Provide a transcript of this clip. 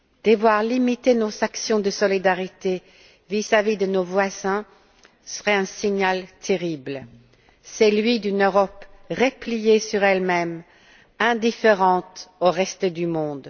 Devoir limiter nos actions de solidarité vis à vis de nos voisins serait un signal terrible, celui d'une Europe repliée sur elle même, indifférente au reste du monde.